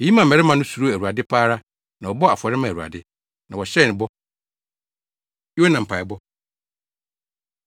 Eyi maa mmarima no suroo Awurade pa ara na wɔbɔɔ afɔre maa Awurade, na wɔhyɛɛ no bɔ. Yona Mpaebɔ